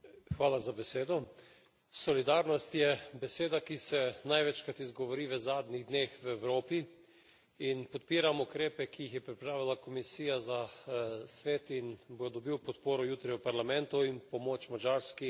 Solidarnost je beseda, ki se največkrat izgovori v zadnjih dneh v Evropi, in podpiram ukrepe, ki jih je pripravila Komisija za Svet in bo dobil podporo jutri v Parlamentu, in pomoč Madžarski, Italiji, Grčiji.